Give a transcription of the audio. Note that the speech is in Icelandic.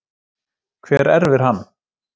Hver erfir hann?